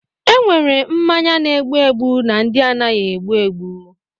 Enwere mmanya na-egbu egbu na ndị anaghị egbu egbu.